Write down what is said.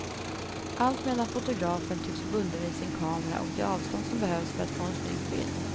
Alltmedan fotografen tycks bunden vid sin kamera och det avstånd som behövs för att få en snygg bild.